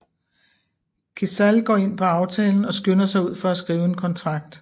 Kecal går ind på aftalen og skynder sig ud for at skrive en kontrakt